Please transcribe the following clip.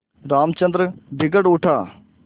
रामचंद्र बिगड़ उठा